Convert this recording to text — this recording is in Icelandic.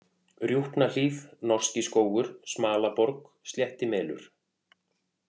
Rjúpnahlíð, Norskiskógur, Smalaborg, Sléttimelur